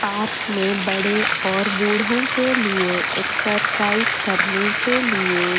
park में बड़े और बूढ़ों के लिए एक्सरसाइज करने के लिए--